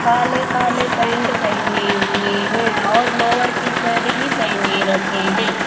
काले काले पैंट पेहने हुए हैं और लोअर टीशर्ट भी पेहने रखे हैं।